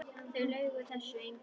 Það laug þessu enginn.